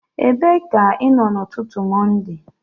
Ebee ka ị nọ n'ụtụtụ Mọnde?